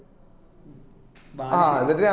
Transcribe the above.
Balussery